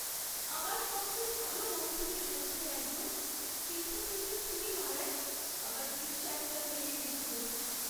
আমার সবচেয়ে ভালো বন্ধুদের মধ্যে একজন পেছন থেকে ছুরি মারায় আমার বিশ্বাসটা ভেঙে গেছিল।